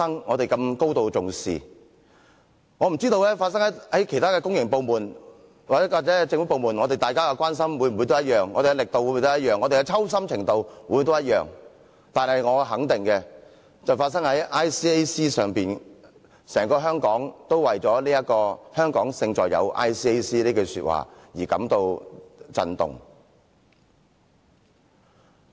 我不知道若事件發生在其他公營部門或政府部門時，我們的關心是否相同、我們的力度是否相同、我們的抽心程度是否相同，但我肯定的是，事件發生在 ICAC 時，整個香港都為了"香港勝在有 ICAC" 這句話而感到震動。